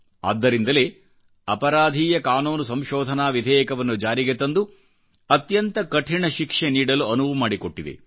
ಆದ್ದರಿಂದಲೇ ಅಪರಾಧೀಯ ಕಾನೂನು ಸಂಶೋಧನಾ ವಿಧೇಯಕವನ್ನು ಜಾರಿಗೆ ತಂದು ಅತ್ಯಂತ ಕಠಿಣ ಶಿಕ್ಷೆ ನೀಡಲುಅನುವುಮಾಡಿಕೊಟ್ಟಿದೆ